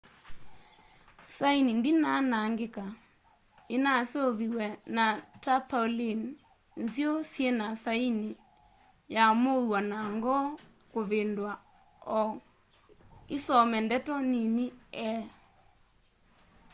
saini ndinaa anangika inaseuviw'e na tarpaulin nziu syina saini ya muuo na ngoo kuvindua o isome ndeto nini e